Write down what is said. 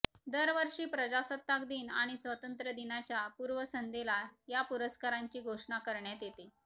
दरवर्षी प्रजासत्ताक दिन आणि स्वतंत्र दिनाच्या पूर्वसंध्येला या पुरस्कारांची घोषणा करण्यात येते